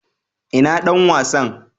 ina Dan wasan?